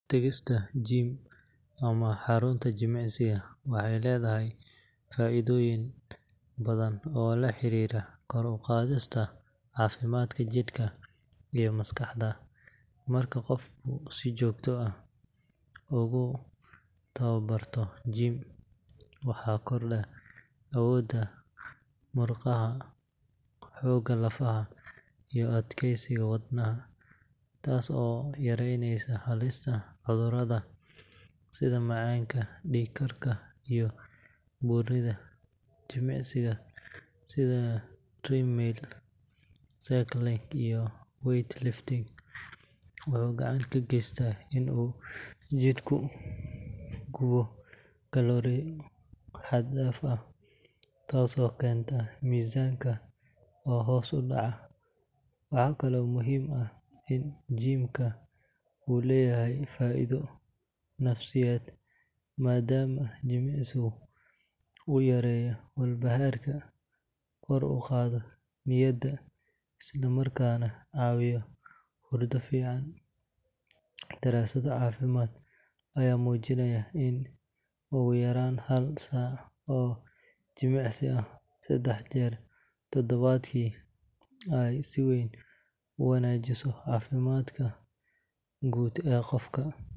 Tagista gym ama xarunta jimicsiga waxay leedahay faa’iidooyin badan oo la xiriira kor u qaadista caafimaadka jidhka iyo maskaxda. Marka qofku si joogto ah ugu tababarto gym, waxaa kordha awoodda murqaha, xoogga lafaha, iyo adkeysiga wadnaha, taas oo yaraynaysa halista cudurrada sida macaanka, dhiig-karka, iyo buurnida. Jimicsiga sida treadmill, cycling, iyo weight lifting wuxuu gacan ka geystaa in uu jidhku gubo kalooriyo xad dhaaf ah, taasoo keenta miisaanka oo hoos u dhaca. Waxaa kale oo muhiim ah in gym-ka uu leeyahay faa’iido nafsiyeed, maadaama jimicsigu uu yareeyo walbahaarka, kor u qaado niyadda, isla markaana caawiyo hurdo fiican. Daraasado caafimaad ayaa muujinaya in ugu yaraan hal saac oo jimicsi ah saddex jeer toddobaadkii ay si weyn u wanaajiso caafimaadka guud ee qofka.